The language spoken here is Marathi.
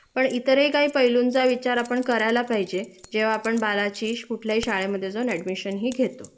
पण इतरही काही पैलूंचा विचार आपण करायला पाहिजे जेंव्हा आपण बाळाची कुठल्याही शाळेमध्ये जाऊन ऍडमिशन हि घेतो